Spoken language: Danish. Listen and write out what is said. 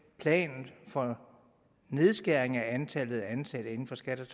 planen for nedskæring af antallet af ansatte i skat